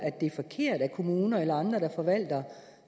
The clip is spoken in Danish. det er forkert at kommuner eller andre der forvalter